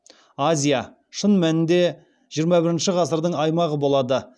азия шын мәнінде жиырма бірінші ғасырдың аймағы болады